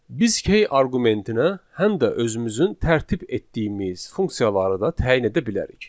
Biz key arqumentinə həm də özümüzün tərtib etdiyimiz funksiyaları da təyin edə bilərik.